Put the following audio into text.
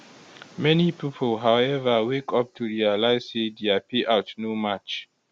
many pipo howeva wake up to realize say dia payout no match